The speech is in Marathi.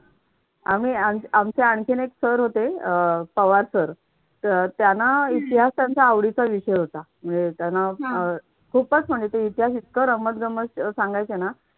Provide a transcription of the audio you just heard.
आहे आणि आम्ही आमचे आणखी एक सर होते. पवार सर, त्यांना इतिहास त्यांचा आवडीचा विषय होता. म्हणजे त्यांना अह खूपच म्हणजे ते इतिहास इतका रमत-गमत सांगायचे ना.